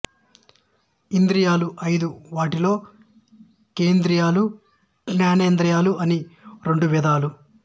ఇంద్రియాలు ఐదు వాటిలో కర్మేంద్రియాలు జ్ఞానేంద్రియాలు అని రెండు విధాలు